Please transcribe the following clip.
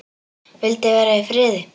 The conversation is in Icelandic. Vildi vera í friði.